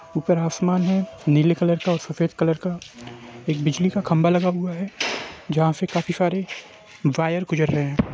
ऊपर आसमान है नीले कलर का और सफ़ेद कलर का एक बिजली का खम्भा लगा हुवा है जहा से काफी सारे वायर गुजर रही हे।